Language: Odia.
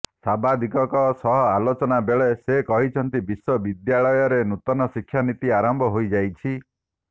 ସାମ୍ବାଦିକଙ୍କ ସହ ଆଲୋଚନା ବେଳେ ସେ କହିଛନ୍ତି ବିଶ୍ବ ବିଦ୍ୟାଳୟରେ ନୂତନ ଶିକ୍ଷା ନୀତି ଆରମ୍ଭ ହୋଇ ଯାଇଛି